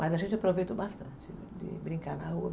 Mas a gente aproveitou bastante de brincar na rua.